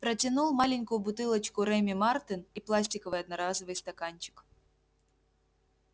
протянул маленькую бутылочку реми мартен и пластиковый одноразовый стаканчик